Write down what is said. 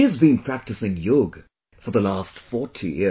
She has been practicing yoga for the last 40 years